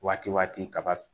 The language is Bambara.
Waati waati kaba